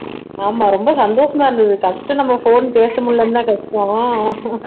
ஆமா ரொம்ப சந்தோஷமா இருந்தது first நம்ம phone பேச முடியலைன்னுதான் கஷ்டம்